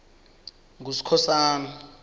nguskhosana